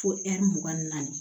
Fo ɛri mugan ni naani